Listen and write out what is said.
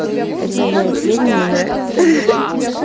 это вам моё пение нравится